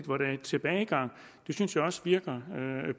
hvor der er tilbagegang det synes jeg også virker